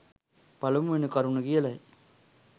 පළමුවෙනි කරුණ කියලයි.